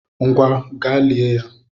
Ngwa! gaa lié ya!